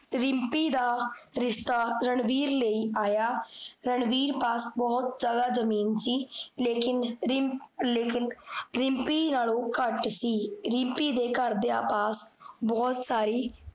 ਰਿਮ੍ਪੀ ਦਾ, ਰਿਸ਼ਤਾ ਰਣਵੀਰ ਲੈ ਆਇਆ ਰਣਵੀਰ ਪਾਸ ਬੋਹੋਤ ਜਾਦਾ ਜਮੀਨ ਸੀ ਲੇਕਿਨ ਲੇਕਿਨ ਰਿਮ੍ਪੀ ਨਾਲੋ ਘਟ ਸੀ ਰਿਮ੍ਪੀ ਦੇ ਘਰ ਦੀਆ ਪਾਸ ਬੋਹੋਤ